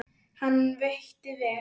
Hann veitti vel